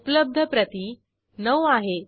उपलब्ध प्रती 9 आहेत